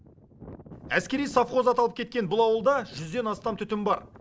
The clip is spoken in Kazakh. әскери сохвоз аталып кеткен бұл ауылда жүзден астам түтін бар